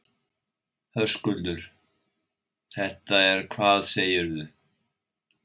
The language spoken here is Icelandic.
Höskuldur: Þetta er hvað segirðu?